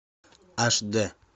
аш д